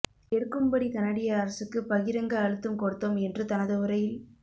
எடுக்கும்படி கனடிய அரசுக்கு பகிரங்க அழுத்தம் கொடுத்தோம் என்று தனது உரையில்